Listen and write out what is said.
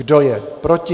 Kdo je proti?